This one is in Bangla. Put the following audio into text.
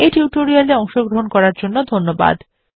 এই টিউটোরিয়াল এ অংশগ্রহন করার জন্য ধন্যবাদ